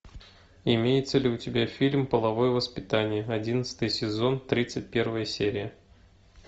имеется ли у тебя фильм половое воспитание одиннадцатый сезон тридцать первая серия